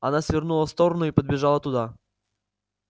она свернула в сторону и подбежала туда